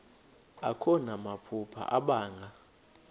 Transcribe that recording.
akho namaphupha abanga